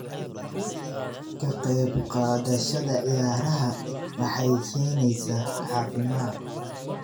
Ka qayb qaadashada ciyaaraha waxay keenaysaa caafimaad.